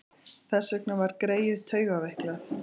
Þess vegna var greyið taugaveiklað.